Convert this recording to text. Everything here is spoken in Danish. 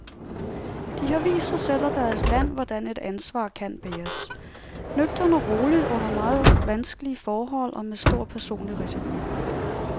De har vist sig selv og deres land, hvordan et ansvar kan bæres, nøgternt og roligt under meget vanskelige forhold, og med stor personlig risiko.